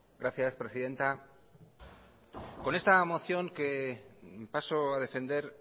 gracias presidenta con esta moción que paso a defender